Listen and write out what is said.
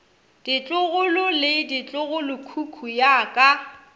ditlogolo le ditlogolokhukhu ya ka